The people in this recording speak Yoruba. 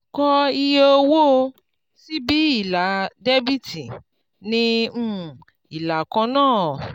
kọ iye owó síbi ilà dẹ́bíítì ní um ìlà kan náà.